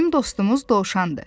Bizim dostumuz dovşandır.